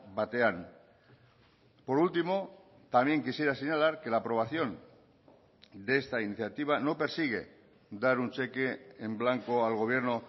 batean por último también quisiera señalar que la aprobación de esta iniciativa no persigue dar un cheque en blanco al gobierno